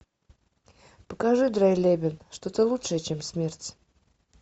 покажи драйлебен что то лучшее чем смерть